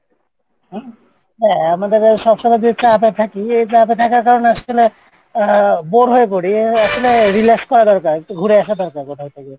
হম হ্যাঁ সবসময়ই যে চাপে থাকি এই চাপে থাকার কারনে আসলে আহ bore হয়ে পরি আসলে relax করা দরকার একটু ঘুরে আসা দরকার কোথাও থেকে।